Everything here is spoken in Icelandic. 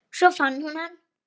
Svo fann hún hann.